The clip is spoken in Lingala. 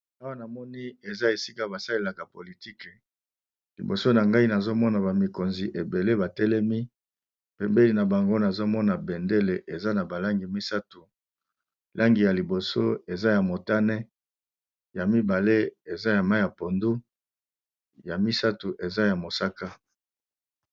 Awa namoni eza esika ba salelaka politike, liboso na ngai nazomona ba mikonzi ebele batelemi bembeni na bango nazomona bendele eza na ba langi misato langi ya liboso eza ya motane ya mibale eza ya mayi ya pondu ya misato eza ya mosaka.